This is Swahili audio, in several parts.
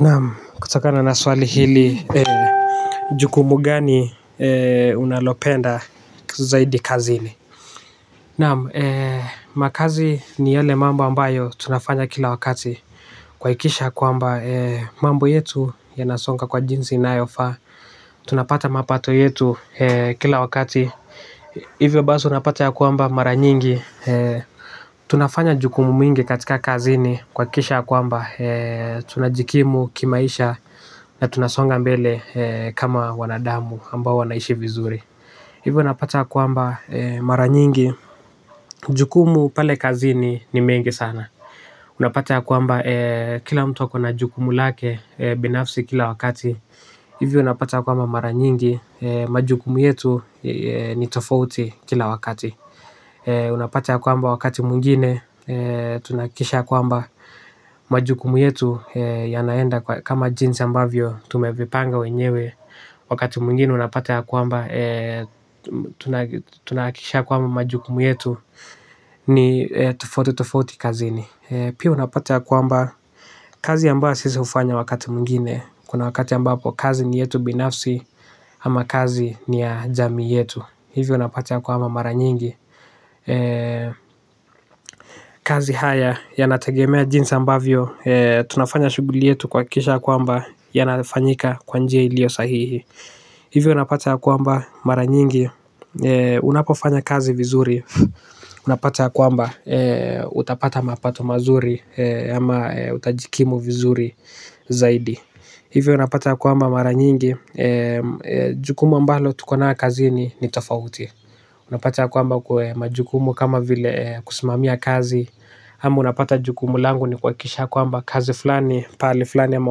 Naam kutokana na swali hili ee. Jukumu gani ee unalopenda zaidi kazini. Naam ee makazi ni yale mambo ambayo tunafanya kila wakati. Kwaikisha kwamba ee mambo yetu ya nasonga kwa jinzi inayofa. Tunapata mapato yetu ee kila wakati. Hivyo baso unapata ya kwamba mara nyingi ee. Tunafanya jukumu mingi katika kazini kwa kisha kwamba ee tunajikimu kimaisha na tunasonga mbel eee kama wanadamu ambao wanaishi vizuri. Hivyo unapata kwamba ee mara nyingi. Jukumu pale kazini ni mengi sana. Unapata ya kwamba ee kila mtu akona jukumu lake e binafsi kila wakati. Hivyo unapata kwamba mara nyingi majukumu yetu ee ni tofouti kila wakati. Unapata ya kwamba wakati muingine ee tunakisha kwamba majukumu yetu ee ya naenda kama jinsi ambavyo tumevipanga wenyewe. Wakati muingine unapate ya kwamba ee tunaakisha kwamba majukumu yetu ni tufoti tufoti kazini e. Pia unapate ya kwamba kazi amba sisi ufanya wakati mungine. Kuna wakati ya mbapo kazi ni yetu binafsi ama kazi ni ya jami yetu. Hivyo unapate ya kwamba mara nyingi eee. Kazi haya ya natagemea jinsi ambavyo ee tunafanya shuguli yetu kwa akisha kwamba ya nafanyika kwanjia ilio sahihi. Hivyo unapata ya kwamba mara nyingi ee. Unapofanya kazi vizuri. Unapata ya kwamba ee utapata mapato mazuri ee ama ee utajikimu vizuri zaidi. Hivyo unapata ya kwamba mara nyingi. Jukumu ambalo tukona kazi ni tofauti. Unapata kwamba kwa majukumu kama vile kusimamia kazi ama unapata jukumu langu ni kwakisha kwamba kazi flani pali flani ama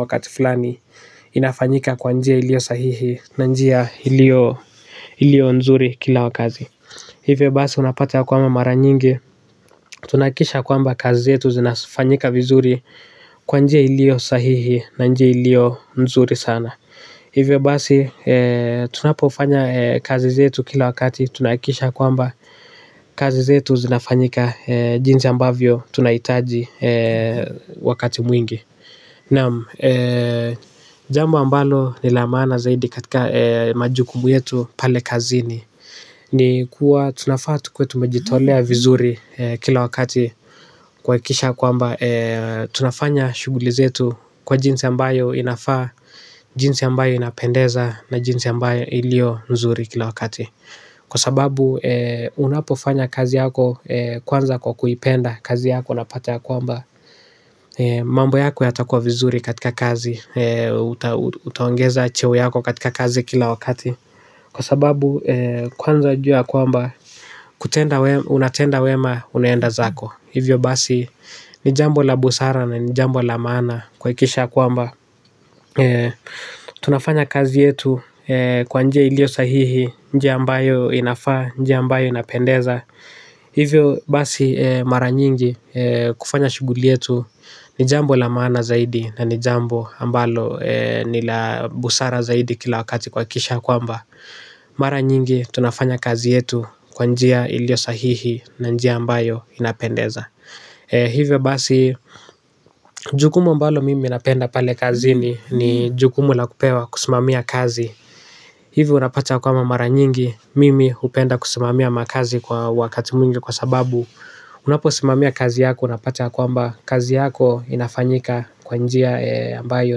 wakati flani inafanyika kwanjia ilio sahihi na njia ilio ilio nzuri kila wakazi. Hivyo basi unapata kwamba mara nyingi tunaakisha kwamba kazi zetu zinafanyika vizuri kwanjia ilio sahihi na njia ilio nzuri sana. Hivyo basi ee tunapofanya ee kazi zetu kila wakati tunakisha kwamba kazi zetu zinafanyika ee jinsi ambavyo tunaitaji ee wakati mwingi. Namu, ee jambo ambalo nilamana zaidi katika ee majukumu yetu pale kazini. Ni kuwa tunafaa tukwe tumejitolea vizuri kila wakati kwaikisha kwamba ee tunafanya shugulizetu kwa jinsi ambayo inafaa. Jinsi ambayo inapendeza na jinsi ambayo ilio nzuri kila wakati. Kwa sababu ee unapofanya kazi yako ee kwanza kwa kuipenda kazi yako napate ya kwamba mambo yako yatakua vizuri katika kazi ee uta utaongeza cheo yako katika kazi kila wakati. Kwa sababu ee kwanza jua kwamba kutenda wema unatenda wema unenda zako. Hivyo basi ni jambo la busara na ni jambo la maana kwa ikisha kwamba ee. Tunafanya kazi yetu ee kwanjia ilio sahihi. Njiya ambayo inafaa, njia ambayo inapendeza. Hivyo basi ee mara nyingi ee kufanya shuguli yetu. Ni jambo la maana zaidi na ni jambo ambalo ee ni la busara zaidi kila wakati kwa ikisha kwamba mara nyingi tunafanya kazi yetu kwanjia ilio sahihi na njia ambayo inapendeza e. Hivyo basi jukumu ambalo mimi napenda pale kazini ni jukumu la kupewa kusimamia kazi. Hivyo unapata kwama mara nyingi mimi hupenda kusimamia makazi kwa wakati muingi kwa sababu unapo simamia kazi yako unapata kwamba kazi yako inafanyika kwanjia ee ambayo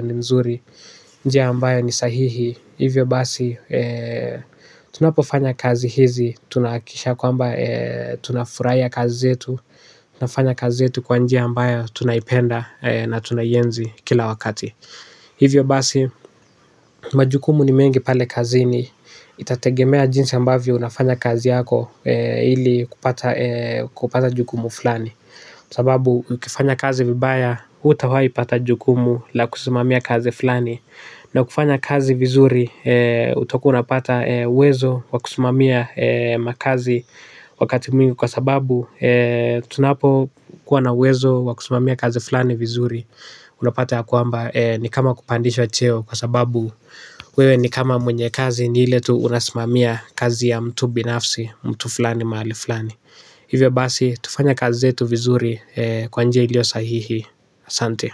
ni nzuri. Njia ambayo ni sahihi. Hivyo basi ee, tunapofanya kazi hizi, tunakisha kwamba ee tunafuraya kazi zetu. Unafanya kazi zetu kwa njia ambayo tunayipenda e na tunaienzi kila wakati. Hivyo basi, majukumu ni mengi pale kazini. Itategemea jinsi ambavyo unafanya kazi yako ee ili kupata ee kupata jukumu fulani. Sababu, ukifanya kazi vibaya, utawai pata jukumu la kusimamia kazi fulani na ukifanya kazi vizuri ee utakuwa unapata ee uwezo wa kusmamia ee makazi wakati mwingi kwa sababu ee tunapo kuwa na uwezo wakusumamia kazi flani vizuri. Unapata ya kuamba ee ni kama kupandishacheo kwa sababu wewe ni kama mwenye kazi ni ile tu unasumamia kazi ya mtu binafsi mtu flani mahali flani. Hivyo basi tufanya kazi zetu vizuri ee kwa nje ilio sahihi Sante.